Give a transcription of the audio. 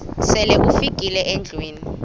sele ufikile endlwini